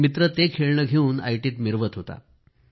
मित्र ते खेळणे घेवून ऐटीत मिरवत होता